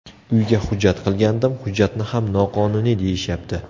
Uyga hujjat qilgandim, hujjatni ham noqonuniy deyishyapti.